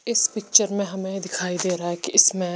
इस पिक्चर मे हमे दिखाई दे रहा है की इसमे--